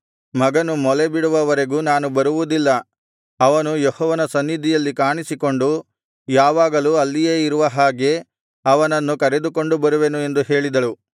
ಮಗನು ಮೊಲೆಬಿಡುವ ವರೆಗೂ ನಾನು ಬರುವುದಿಲ್ಲ ಅವನು ಯೆಹೋವನ ಸನ್ನಿಧಿಯಲ್ಲಿ ಕಾಣಿಸಿಕೊಂಡು ಯಾವಾಗಲೂ ಅಲ್ಲಿಯೇ ಇರುವ ಹಾಗೆ ಅವನನ್ನು ಕರೆದುಕೊಂಡು ಬರುವೆನು ಎಂದು ಹೇಳಿದಳು